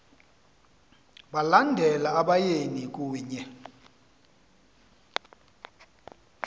balandela abayeni kunye